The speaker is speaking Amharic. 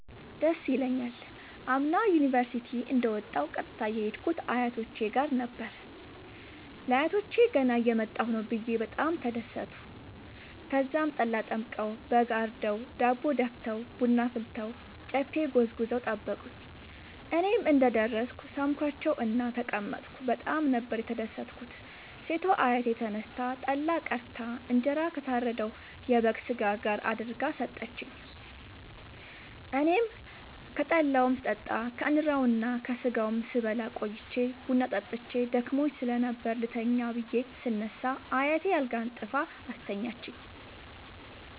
ደስ ይለኛል። አምና ዩኒቨርሢቲ እንደ ወጣሁ ቀጥታ የሄድኩት አያቶቼ ጋር ነበር። ለአያቶቸ ገና እየመጣሁ ነዉ ብየ በጣም ተደሠቱ። ተዛም ጠላ ጠምቀዉ በግ አርደዉ ዳቦ ደፍተዉ ቡና አፍልተዉ ጨፌ ጎዝጉዘዉ ጠበቁኝ። እኔም እንደ ደረስኩ ሣምኳቸዉእና ተቀመጥኩ በጣም ነበር የተደትኩት ሴቷ አያቴ ተነስታ ጠላ ቀድታ እንጀራ ከታረደዉ የበግ ስጋ ጋር አድርጋ ሠጠችኝ። አኔም ከጠላዉም ስጠጣ ከእንራዉና ከስጋዉም ስበላ ቆይቼ ቡና ጠጥቼ ደክሞኝ ስለነበር ልተኛ ብየ ስነሳ አያቴ አልጋ አንጥፋ አስተኛችኝ።